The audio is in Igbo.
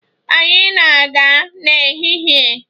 Anyị na-aga n'ehihie.